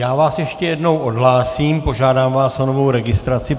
Já vás ještě jednou odhlásím, požádám vás o novou registraci.